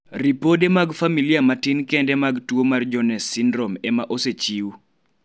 ripode mag familia matin kende mag tuo mar Jones syndrome ema osechiw